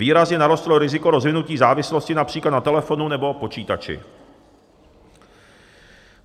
Výrazně narostlo riziko rozvinutí závislosti například na telefonu nebo počítači.